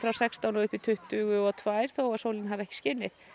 sextán og upp í tuttugu og tvö þó að sólin hafi ekki skinið